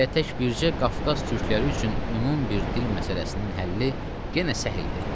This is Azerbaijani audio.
Hələ tək bircə Qafqaz türkləri üçün ümumi bir dil məsələsinin həlli yenə səhildir.